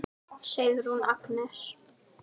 Sigrún Agnes.